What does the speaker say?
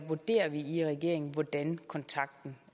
vurderer vi i regeringen hvordan kontakten